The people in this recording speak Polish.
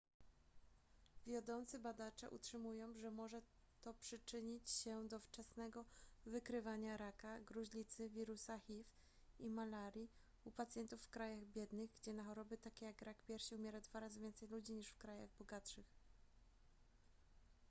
wiodący badacze utrzymują że może to przyczynić się do wczesnego wykrywania raka gruźlicy wirusa hiv i malarii u pacjentów w krajach biednych gdzie na choroby takie jak rak piersi umiera dwa razy więcej ludzi niż w krajach bogatszych